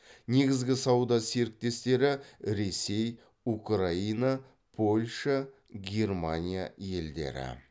негізгі сауда серіктестері ресей украина польша германия елдері